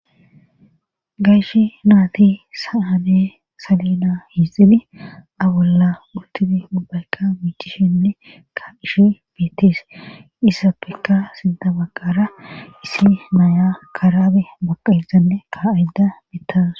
gayshi naati sa7ane salina hiixili abolla ultifi ubbayka miichishenne ka'ishi biittis issappekka sinta baqara isi naya karaabe boqaezanne ka7yda bittawus